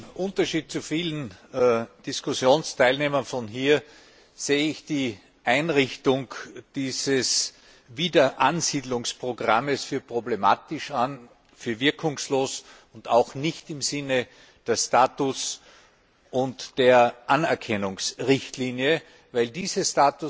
Im Gegensatz zu vielen Diskussionsteilnehmern hier sehe ich die Einrichtung dieses Wiederansiedlungsprogramms als problematisch an, als wirkungslos und auch nicht im Sinne der Status und der Anerkennungsrichtlinie, weil diese